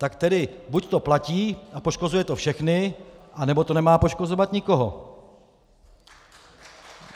Tak tedy buď to platí a poškozuje to všechny, anebo to nemá poškozovat nikoho!